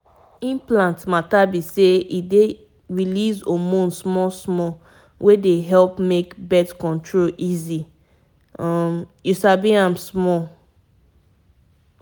once dem place um implant na just small touch e no hard at all and e go help you dodge all those daily reminders. um